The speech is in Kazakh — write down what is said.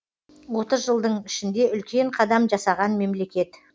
отыз жылдың ішінде үлкен қадам жасаған мемлекет